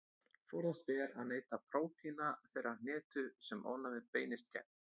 Forðast ber að neyta prótína þeirrar hnetu sem ofnæmið beinist gegn.